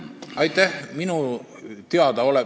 Aitäh!